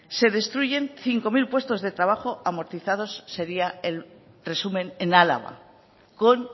se destruyen cinco mil puestos de trabajo amortizados sería el resumen en álava con